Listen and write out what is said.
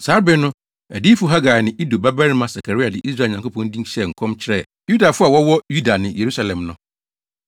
Saa bere no, adiyifo Hagai ne Ido babarima Sakaria de Israel Nyankopɔn din hyɛɛ nkɔm kyerɛɛ Yudafo a wɔwɔ Yuda ne Yerusalem no.